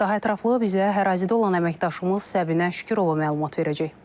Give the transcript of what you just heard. Daha ətraflı bizə ərazidə olan əməkdaşımız Səbinə Şükürova məlumat verəcək.